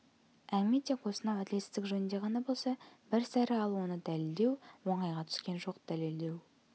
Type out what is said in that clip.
әңгіме тек осынау әділетсіздік жөнінде ғана болса бір сәрі ал оны дәлелдеу оңайға түскен жоқ дәлелдеу